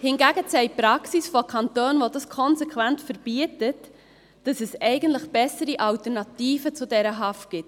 Hingegen zeigt die Praxis von Kantonen, die dies konsequent verbieten, dass es eigentlich bessere Alternativen zu dieser Haft gibt.